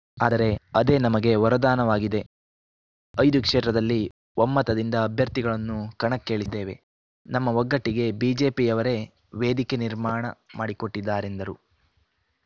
ಆದರೆ ಅದೇ ನಮಗೆ ವರದಾನವಾಗಿದೆ ಐದು ಕ್ಷೇತ್ರದಲ್ಲಿ ಒಮ್ಮತದಿಂದ ಅಭ್ಯರ್ಥಿಗಳನ್ನು ಕಣಕ್ಕೆ ಇಳಿದ್ದೇವೆ ನಮ್ಮ ಒಗ್ಗಟ್ಟಿಗೆ ಬಿಜೆಪಿಯವರೇ ವೇದಿಕೆ ನಿರ್ಮಾಣ ಮಾಡಿಕೊಟ್ಟಿದ್ದಾರೆಂದರು